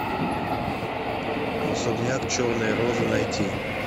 особняк черной розы найти